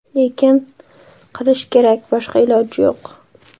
Lekin qilish kerak, boshqa iloji yo‘q.